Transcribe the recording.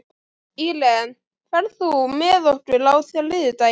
Íren, ferð þú með okkur á þriðjudaginn?